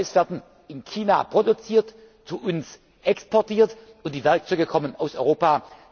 Toys werden in China produziert, zu uns exportiert, und die Werkzeuge kommen aus Europa.